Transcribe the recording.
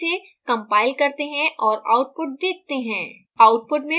अब इसे compile करते हैं और output देखते हैं